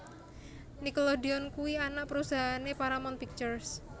Nickelodeon kuwi anak perusahaan e Paramount Pictures